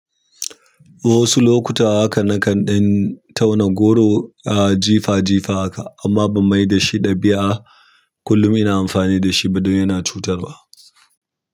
Wasu lokuta haka nakan ɗan tauna goro a jifa jifa haka amma ban mai da shi ɗabi'a kullum ina amfani da shi ba don yana cutarwa.